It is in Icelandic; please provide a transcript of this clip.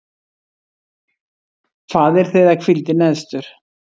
Faðir þeirra hvíldi neðstur.